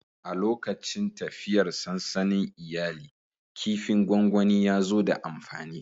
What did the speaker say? A lokacin tafiyar sansanin iyali, kifin gwangwani ya zo da amfani.